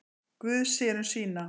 Guð sér um sína.